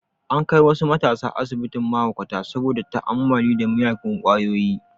An kai wasu matasa asibitin mahaukata saboda ta'ammali da miyagun kwayoyi